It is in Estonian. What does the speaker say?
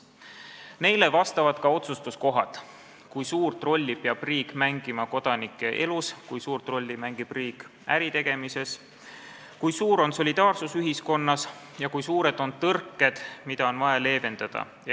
Neile vastavad ka otsustuskohad: kui suurt rolli peab riik mängima kodanike elus, kui suurt rolli mängib riik äritegemises, kui suur on solidaarsus ühiskonnas ja kui suured on tõrked, mida on vaja leevendada.